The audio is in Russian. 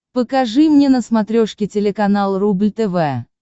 покажи мне на смотрешке телеканал рубль тв